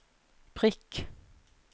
prikk